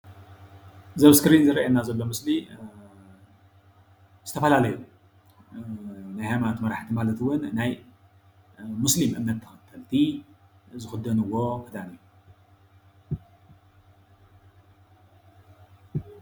እዚ ኣብ እስክሪን ዝረአየና ዘሎ ምስሊ ዝተፈላለዩ ናይ ሃይማኖት መራሕቲ ማለት እውን ናይ ሙስሊም እምነት ተከተልቲ ዝክደንዎ ክዳን እዩ፡፡